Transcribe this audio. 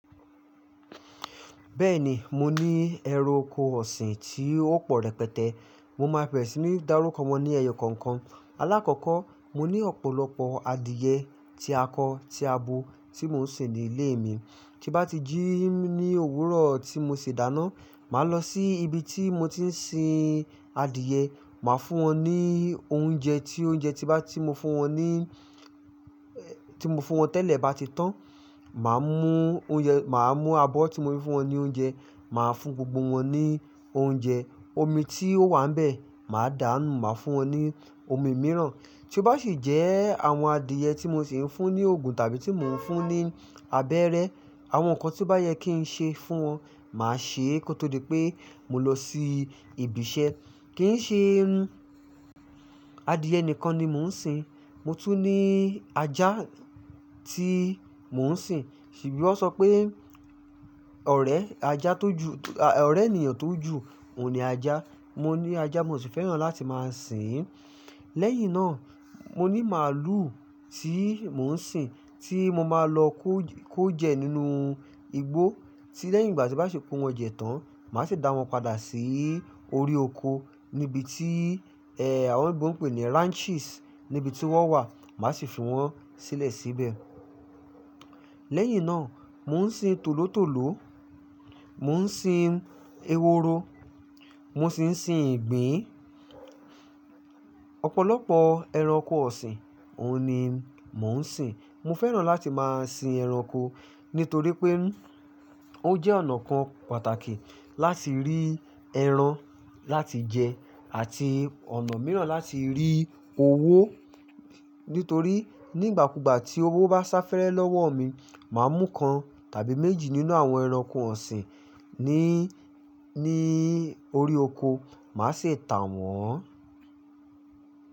Bẹ́ẹ̀ni, mo ní ẹranko ọ̀sìn tí ó pọ̀ rẹpẹtẹ. Mo máa bèrè si ní darúkọ wọn ní ẹyọ kọ̀ọ̀kan. Alákọ̀ọ́kọ́, mo ní ọ̀pọ̀lọpọ̀ adìẹ tí àkó tí àbò tí mò ń sìn ní ilé mi. Tí bá ti jí ní òwúrọ̀ tí mo ṣi dáná, màá lọ sí ibi tí mo ti ń sin adìẹ, máa fún wọn ní oúnjẹ tí oúnjẹ tí bá ti mo fún wọn ní, tí mo fún wọn tẹ́lẹ̀ bá ti tán, máa mú oúnjẹ, máa mú abọ́ tí mo fi fún wọn ní oúnjẹ, máa fún gbogbo wọn ní oúnjẹ. Omi tí ó wà níbẹ̀, máa dàánù, máa fún wọn ní omi mìíràn. Tí ó bá sì jẹ́ àwọn adìẹ tí mo sì ń fún ní oògùn tàbí tí mò ń fún ní abẹ́rẹ́, àwọn nǹkan tí bá yẹ kí n ṣe fún wọn, màá ṣe é kó tó di pé mo lọ sí ibi iṣẹ́. Kì í ṣe adìẹ nìkan ni mò ń sin, mo tún ní ajá tí mò ń sin. Ṣebí wọ́n sọ pé ọ̀rẹ́ ajá tó ju, ọ̀rẹ́ ènìyàn tó ju òun ni ajá. Mo ní ajá, mo sì fẹ́ràn láti máa sìn. Lẹ́yìn náà, mo ní màlúù tí mò ń sin, tí mo máa lọ kó jẹ nínú igbó tí lẹ́yìn ìgbà tí bá ṣe kó wọn jẹ tán, màá sì dá wọn padà sí orí ọ̀kọ́ níbi tí, àwọn oloyinbo ń pè ní ranches, níbi tí wọ́n wà, màá sì fi wọn sílẹ̀ síbẹ̀. Lẹ́yìn náà, mò ń sin tòlótòló, mò ń sin eworo, mo sì ń sin ìgbín. Ọ̀pọ̀lọpọ̀ ẹranko ọ̀sìn, òun ni mò ń sin. Mo fẹ́ràn láti máa sin ẹranko nítorí pé ó jẹ́ ọ̀nà kan pàtàkì láti rí ẹran láti jẹ àti ọ̀nà mìíràn láti rí owó. Nítorí nígbàkugbà tí owó bá sá fẹ́rẹ́ lọ́wọ́ mi, máa mú kan tàbí méjì nínú àwọn ẹranko ọ̀sìn ní, ní orí ọ̀kọ́, máa sì tà wọ́n.